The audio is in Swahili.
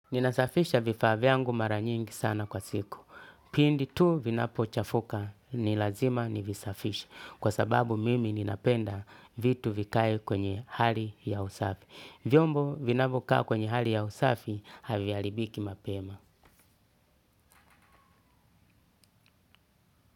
Ninasafisha vifaa vyangu mara nyingi sana kwa siku. Pindi tu vinapo chafuka, ni lazima nivisafishe. Kwa sababu mimi ninapenda vitu vikae kwenye hali ya usafi. Vyombo vinavyo kaa kwenye hali ya usafi, haviharibiki mapema.